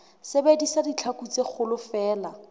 sebedisa ditlhaku tse kgolo feela